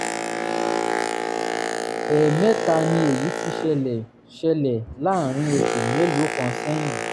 ẹ̀ẹ̀mẹta ni èyí ti ṣẹlẹ̀ ṣẹlẹ̀ láàárín oṣù mélòó kan sẹ́yìn